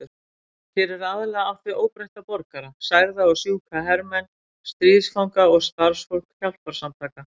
Er hér aðallega átt við óbreytta borgara, særða og sjúka hermenn, stríðsfanga og starfsfólk hjálparsamtaka.